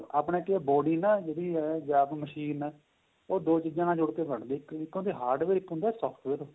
ਆਪਣੇਂ ਕਿ ਏਹ body ਏ ਜਿਹੜੀ ਏ machine ਉਹ ਦੋ ਚੀਜਾਂ ਨਾਲ ਜੁੜ ਕੇ ਬਣਦੀ ਏਹ ਇੱਕ ਹੁੰਦਾ hardware ਇੱਕ ਹੁੰਦਾ software